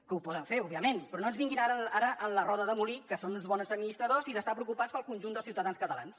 que ho poden fer òbviament però no ens vinguin ara amb la roda de molí que són uns bons administradors i d’estar preocupats pel conjunt dels ciutadans catalans